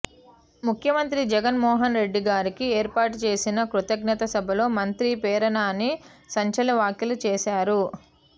ముఖ్యమంత్రి జగన్ మోహన్ రెడ్డి గారికి ఏర్పాటు చేసిన కృతజ్ఞత సభలో మంత్రి పేర్ని నాని సంచలన వ్యాఖ్యలు చేసారు